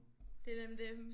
Det er nemlig det